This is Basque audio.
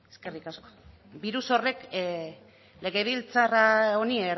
birus horrek legebiltzar honi